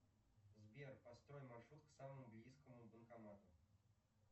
сбер построй маршрут к самому близкому банкомату